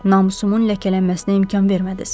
Namusumun ləkələnməsinə imkan vermədiniz.